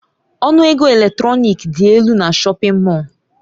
Ọnụ ego elektrọnik dị elu na shọpin Mọll.